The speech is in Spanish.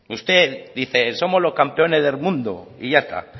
usted dice somos los campeones del mundo y ya está